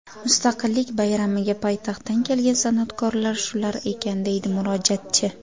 Mustaqillik bayramiga poytaxtdan kelgan san’atkorlar shular ekan, deydi murojaatchi.